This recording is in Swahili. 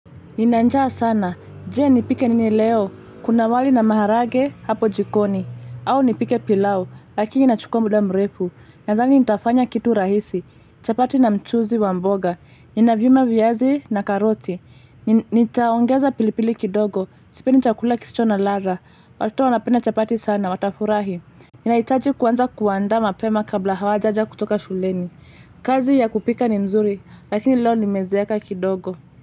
Nina njaa sana, jee nipike nini leo, kuna wali na maharage hapo jikoni, au nipike pilao, lakini na chukua mda mrefu, nadhani nitafanya kitu rahisi, chapati na mchuzi wa mboga, nina vyuma viazi na karoti, nitaongeza pilipili kidogo, sipendi chakula kisicho na ladha, wato wanapenda chapati sana, watafurahi. Nina itaji kwanza kuanda mapema kabla hawajaja kutoka shuleni, kazi ya kupika ni mzuri, lakini leo nimezeeka kidogo.